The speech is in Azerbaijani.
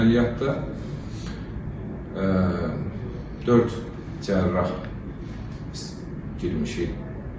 Əməliyyatda dörd cərrah girmişik.